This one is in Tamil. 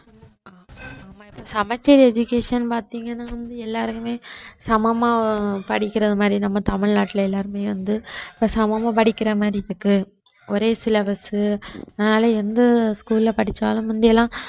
சமச்சீர் education பாத்தீங்கன்னா வந்து எல்லாருக்குமே சமமா படிக்கிறது மாதிரி நம்ம தமிழ்நாட்டுல எல்லாருமே வந்து சமமா படிக்கிற மாதிரி இருக்கு ஒரே syllabus உ அதனால எந்த school ல படிச்சாலும் முந்தி எல்லாம்